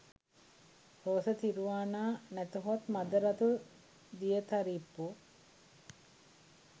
රෝස තිරුවානා නැතහොත් මද රතු දියතරිප්පු